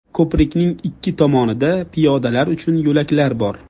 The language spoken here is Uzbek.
Ko‘prikning ikki tomonida piyodalar uchun yo‘laklar bor.